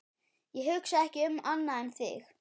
Ég hugsa ekki um annað en þig.